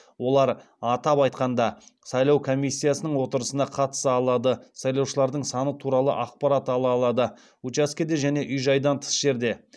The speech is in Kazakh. олар атап айтқанда сайлау комиссиясының отырысына қатыса алады сайлаушылардың саны туралы ақпарат ала алады